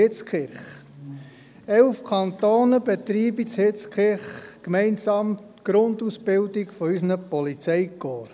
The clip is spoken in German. Elf Kantone betreiben in Hitzkirch gemeinsam die Grundausbildung unserer Polizeikorps.